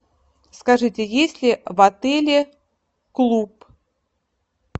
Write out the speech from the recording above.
скажите есть ли в отеле клуб